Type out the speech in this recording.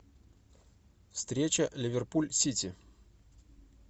встреча ливерпуль сити